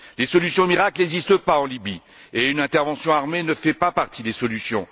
Les solutions miracles n'existent pas en Libye et une intervention armée ne fait pas partie des solutions.